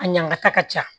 A ɲagata ka ca